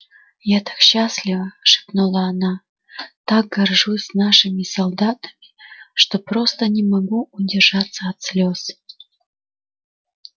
я так счастлива шепнула она так горжусь нашими солдатами что просто не могу удержаться от слёз